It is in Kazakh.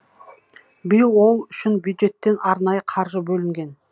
биыл ол үшін бюджеттен арнайы қаржы бөлінген